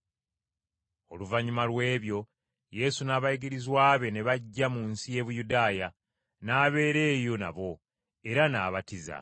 Oluvannyuma lw’ebyo Yesu n’abayigirizwa be ne bajja mu nsi y’e Buyudaaya, n’abeera eyo nabo, era n’abatiza.